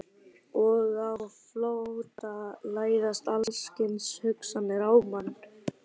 Og á flótta læðast alls kyns hugsanir að manni.